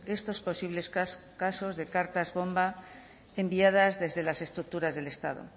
estos posibles casos de cartas bomba enviadas desde las estructuras del estado